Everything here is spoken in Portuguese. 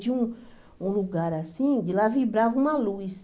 Tinha um um lugar assim, de lá vibrava uma luz.